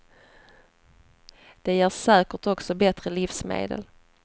Det ger säkert också bättre livsmedel.